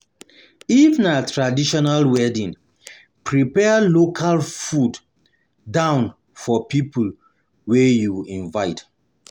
If na traditional wedding prepare local food down for pipo wey you invite